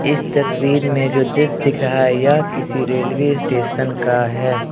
इस तस्वीर में जो दृश्य दिख रहा है या किसी रेलवे स्टेशन का है।